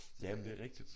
Ja men det er rigtigt